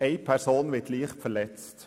eine Person wird leicht verletzt.